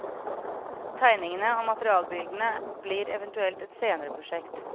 Tegningene og materialbildene blir eventuelt et senere prosjekt.